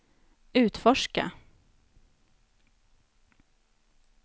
utforska